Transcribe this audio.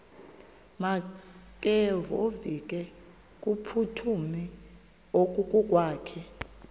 makevovike kumphuthumi okokwakhe